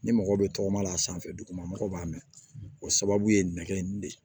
Ni mɔgɔ bɛ tɔgɔma a sanfɛ duguma mɔgɔ b'a mɛn o sababu ye nɛgɛ in de ye